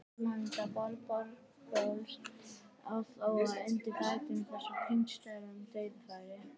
Framherji á borð við Björgólf á þó að gera betur undir þessum kringumstæðum, dauðafæri!